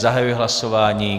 Zahajuji hlasování.